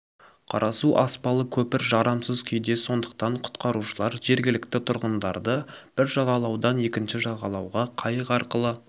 қарасу аспалы көпір жарамсыз күйде сондықтан құтқарушылар жергілікті тұрғындарды бір жағалаудан екінші жағалауға қайық арқылы